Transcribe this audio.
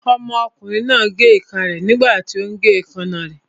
Ọmọkùnrin náà gé ìka rẹ̀ nígbàtí ó ún gé èékánná rẹ̀